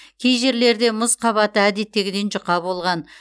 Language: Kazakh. кей жерлерде мұз қабаты әдеттегіден жұқа болған